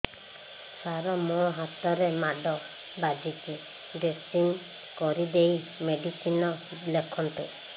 ସାର ମୋ ହାତରେ ମାଡ଼ ବାଜିଛି ଡ୍ରେସିଂ କରିଦେଇ ମେଡିସିନ ଲେଖନ୍ତୁ